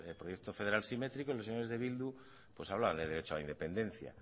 proyecto federal simétrico y los señores de bildu pues hablan del derecho a la independencia